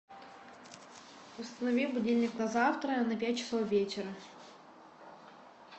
установи будильник на завтра на пять часов вечера